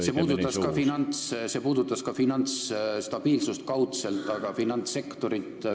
See puudutab kaudselt ka finantsstabiilsust ja finantssektorit.